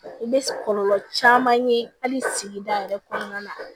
I bɛ kɔlɔlɔ caman ye hali sigida yɛrɛ kɔnɔna na